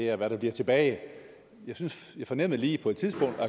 er hvad der bliver tilbage jeg fornemmede lige på et tidspunkt at